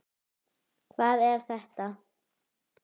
Hvað er þetta?